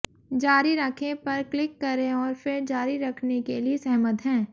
जारी रखें पर क्लिक करें और फिर जारी रखने के लिए सहमत हैं